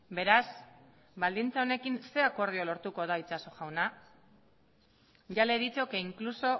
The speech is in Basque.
beraz baldintza honekin ze akordio lortuko da itxaso jauna ya le he dicho que incluso